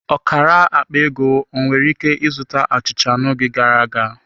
Ọkara akpa ego ọ nwere ike zụta achịcha n'oge gara aga?